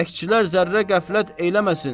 Bəkçilər zərrə qəflət eləməsin.